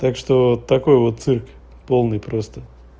так что такой вот цирк полный просто